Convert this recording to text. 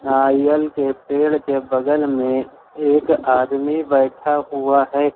नारियल के पेड़ के बगल में एक आदमी बैठा हुआ है।